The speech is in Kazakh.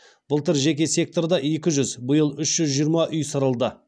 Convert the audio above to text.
былтыр жеке секторда екі жүз биыл үш жүз жиырма үй сырылды